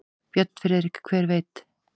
Björn Friðrik: Hver veit.